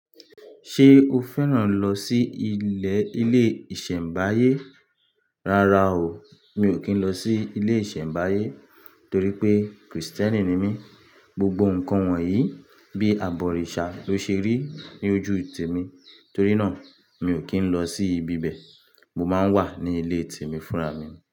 Ṣé o fẹ́ràn lọ sí ilé ilé ìṣẹ̀mbáyé? Rárá o, mi ò kí ń lọ sí ilé ìṣẹ̀mbáyé torí pé Krìstẹ́nì ni mí. Gbogbo ǹkan wọ̀nyí bí àbọ̀rìṣà ló ṣe rí ní ojúùtì mi, torí náà mi ò kí ń lọ sí ibi bẹ̀. Mo máa ń wà ní ilé te mi fúnra mi.